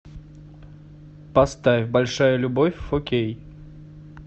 поставь большая любовь фо кей